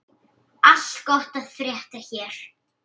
Allt gott að frétta hér.